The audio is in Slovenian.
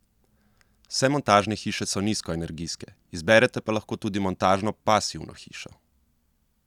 Vse montažne hiše so nizkoenergijske, izberete pa lahko tudi montažno pasivno hišo.